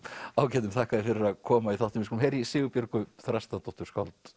ágætum þakka þér fyrir að koma í þáttinn við skulum heyra í Sigurbjörgu Þrastardóttur